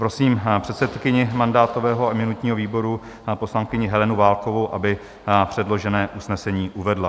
Prosím předsedkyni mandátového a imunitního výboru, poslankyni Helenu Válkovou, aby předložené usnesení uvedla.